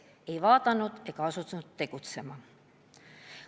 Ei vaadatud ega asutud tegutsema.